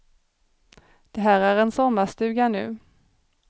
Det här är en sommarstuga nu.